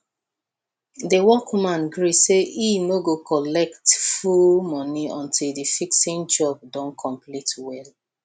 the workman gree say he no go collect full money until the fixing job don complete well